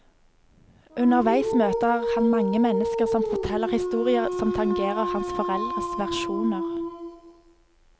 Underveis møter han mange mennesker som forteller historier som tangerer hans foreldres versjoner.